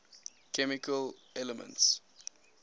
chemical elements